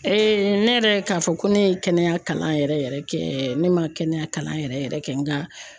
ne yɛrɛ k'a fɔ ko ne ye kɛnɛya kalan yɛrɛ yɛrɛ kɛ ne man kɛnɛya kalan yɛrɛ yɛrɛ kɛ nga